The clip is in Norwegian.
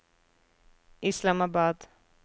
Islamabad